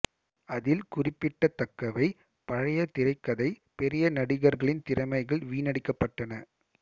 அதில் குறிப்பிடத்தக்கவை பழைய திரைக்கதை பெரிய நடிகர்களின் திறமைகள் வீணடிக்கப்பட்டன